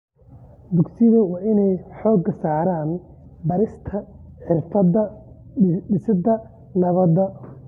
Dugsiyada waa in ay xoogga saaraan barista xirfadaha dhisidda nabadda.